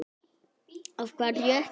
Af hverju ekki?